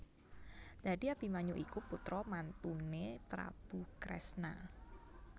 Dadi Abimanyu iku putra mantuné Prabu Kresna